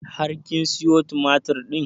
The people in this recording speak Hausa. Har kin sayo tumatur ɗin?